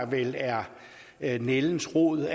vel er er nældens rod